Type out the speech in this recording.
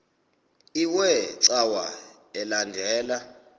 iwe cawa elandela